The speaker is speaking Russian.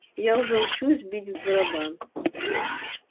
я уже учусь бить в барабан